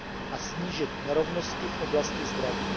a snížit nerovnosti v oblasti zdraví.